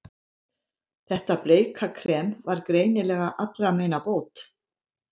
Þetta bleika krem var greinilega allra meina bót.